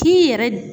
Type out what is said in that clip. K'i yɛrɛ